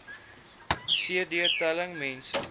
cd telling mense